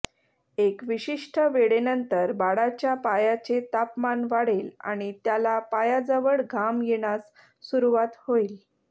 एक विशिष्ट वेळेनंतर बाळाच्या पायाचे तापमान वाढेल आणि त्याला पायाजवळ घाम येण्यास सुरुवात होईल